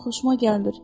xoşuma gəlmir.